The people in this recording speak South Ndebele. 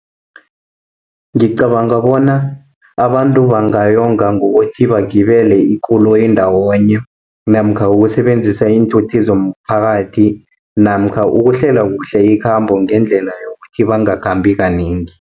Ngicabanga bona abantu bangayonga ngokuthi bagibele ikoloyi ndawonye, namkha ukusebenzisa iinthuthi zomphakathi, namkha ukuhlela kuhle ikhambo ngendlela yokuthi bangakhambi kanengi.